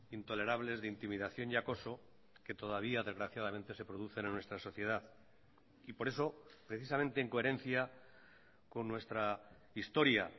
intolerables de intimidación y acoso que todavía desgraciadamente se producen en nuestra sociedad y por eso precisamente en coherencia con nuestra historia